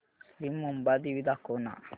श्री मुंबादेवी दाखव ना